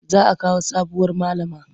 Za a kawo sabuwar malama.